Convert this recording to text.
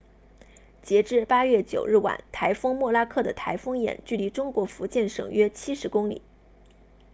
截至8月9日晚台风莫拉克的台风眼距离中国福建省约70公里